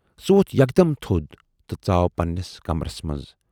سُہ ووتھ یکدم تھود تہٕ ژاو پنہٕ نِس کمرس منز۔